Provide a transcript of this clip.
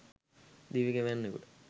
දිවි ගෙවන්නකුට